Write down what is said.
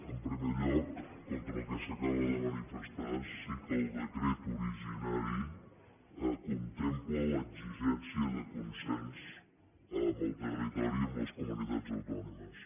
en primer lloc contra el que s’acaba de manifestar sí que el decret originari contempla l’exigència de consens amb el territori i amb les comunitats autònomes